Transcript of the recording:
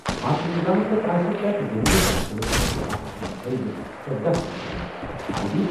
اَتھ نِظامَس تحت آسہِ پرٛٮ۪تھ زٔمیٖنی پارسلَس خٲطرٕ اکھ منفرد ژۄدَہ ہندسن ہُنٛد آٮٔی ڈی۔